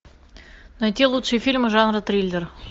найти лучшие фильмы жанра триллер